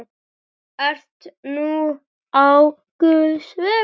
Ert nú á guðs vegum.